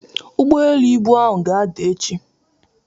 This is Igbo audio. Ụgbọelu ibu ahụ ga-ada echi.